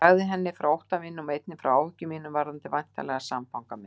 Ég sagði henni frá ótta mínum og einnig frá áhyggjum mínum varðandi væntanlegan samfanga minn.